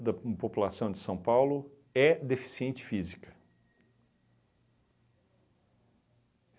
da população de São Paulo é deficiente física.